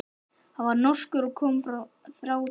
Hann var norskur og kom frá Þrándheimi.